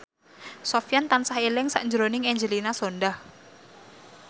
Sofyan tansah eling sakjroning Angelina Sondakh